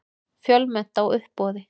Fjölmennt á uppboði